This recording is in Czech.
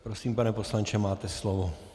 Prosím, pane poslanče, máte slovo.